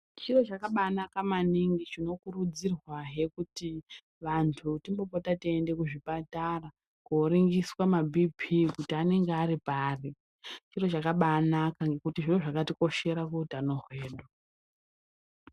Chiro chakabaa naka maningi chino kurudzirwa he kuti vanhu timbopota teienda kuzvipatara koringiswa maBhii pii kuti anonga aripari, chiro chakaaba anaka ngekuti zviro zvakatikoshera kuutano hwedu.